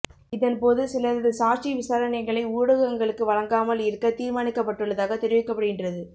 இதன்போது சிலரது சாட்சி விசாரணைகளை ஊடகங்களுக்கு வழங்காமல் இருக்க தீர்மானிக்கப்பட்டுள்ளதாக தெரிவிக்கப்படுகின்றது